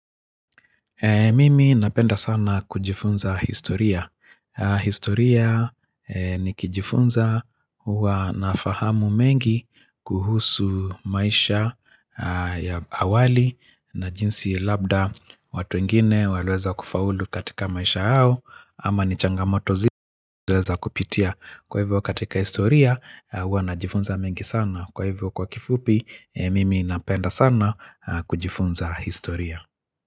Mimi napenda sana kujifunza historia. Historia ni kijifunza uwa na fahamu mengi kuhusu maisha awali na jinsi labda watu ingine waliweza kufaulu katika maisha hao. Ama ni changamoto zile waleweza kupitia. Kwa hivyo katika historia, uwa na jifunza mengi sana. Kwa hivyo kwa kifupi, Mimi napenda sana kujifunza historia.